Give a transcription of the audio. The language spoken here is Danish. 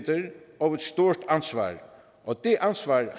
og givet et stort ansvar det ansvar